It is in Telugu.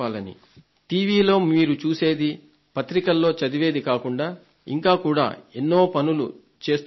టీవీలో మీరు చూసేది పత్రికల్లో చదివేది కాకుండా ఇంకా కూడా ఎన్నో పనులు చేస్తూ ఉంటాం